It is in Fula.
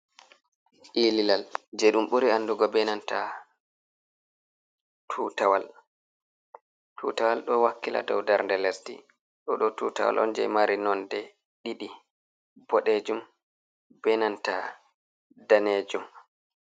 Ililal je ɗum ɓuri andugo be nanta tutawal. Tutawal ɗo wakkila dow darde lesdi. Ɗo ɗo tutawal on je mari nonde ɗiɗi, bodejum benanta danejum.